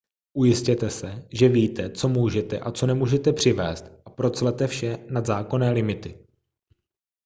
ujistěte se že víte co můžete a co nemůžete přivézt a proclete vše nad zákonné limity